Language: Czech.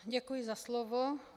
Děkuji za slovo.